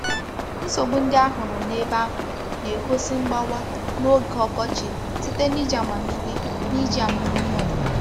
Nsogbu ndị a hụrụ n’ebe ahụ na-egosi mgbawa n’oge ọkọchị site n’iji amamihe n’iji amamihe ọdịnala.